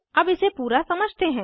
अब इसे पूरा समझते हैं